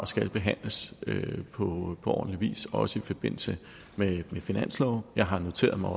skal behandles på ordentlig vis også i forbindelse med finansloven jeg har noteret mig